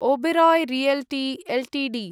Oberoi realty Ltd